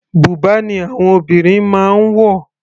Bùbá ni àwọn obìnrin máa ń wọ̀.